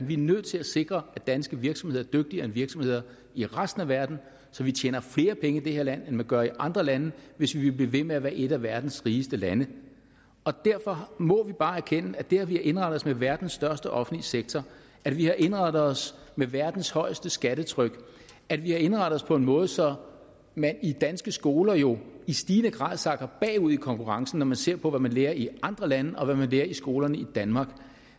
vi er nødt til at sikre at danske virksomheder er dygtigere end virksomheder i resten af verden så vi tjener flere penge i det her land end man gør i andre lande hvis vi vil blive ved med at være et af verdens rigeste lande derfor må vi bare erkende at det at vi har indrettet os med verdens største offentlige sektor at vi har indrettet os med verdens højeste skattetryk at vi har indrettet os på en måde så man i danske skoler jo i stigende grad sakker bagud i konkurrencen når man ser på hvad man lærer i andre lande og hvad man lærer i skolerne i danmark